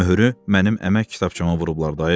Möhürü mənim əmək kitabçama vurublar dayı.